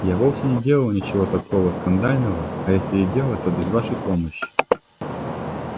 я вовсе не делала ничего такого скандального а если и делала то без вашей помощи